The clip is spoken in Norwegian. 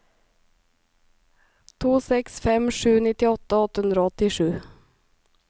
to seks fem sju nittiåtte åtte hundre og åttisju